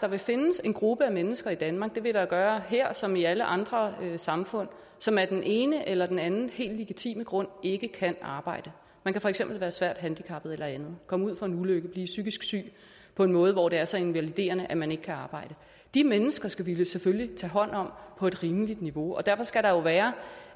der vil findes en gruppe af mennesker i danmark det vil der jo gøre her som i alle andre samfund som af den ene eller den anden helt legitime grund ikke kan arbejde man kan for eksempel være svært handicappet eller andet komme ud for en ulykke blive psykisk syge på en måde hvor det er så invaliderende at man ikke kan arbejde de mennesker skal vi da selvfølgelig tage hånd om på et rimeligt niveau og derfor skal der jo være